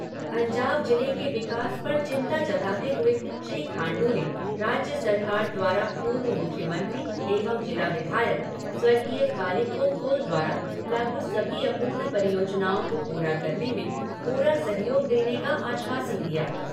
अंजाव जिले के विकास पर चिंता जताते हुए श्री खांडू ने राज्य सरकार द्वारा पूर्व मुख्यमंत्री एवं जिला विधायक स्वर्गीय कालिखो पुल द्वारा लागू सभी अपूर्ण परियोजना को पूरा करने में पूरा सहयोग देने का आश्वासन दिया।